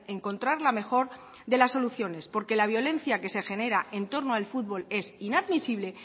encontrar la mejor de las soluciones porque la violencia que se genera en torno al fútbol es inadmisible